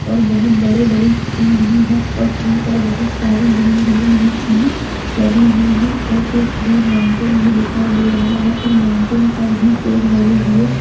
और बहुत बड़े-बड़े ट्री भी है और ट्री पर बहुत सारी ग्रीन ग्रीन लीव्स भी लगी हुई है और एक दूर माउंटेन भी दिखाई दे रहा है और माउंटेन पर भी पेड़ लगे हुए --